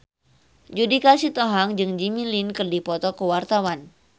Judika Sitohang jeung Jimmy Lin keur dipoto ku wartawan